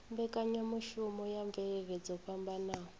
mbekanyamushumo ya mvelele dzo fhambanaho